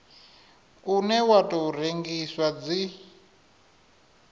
une wa tou rengiwa dzi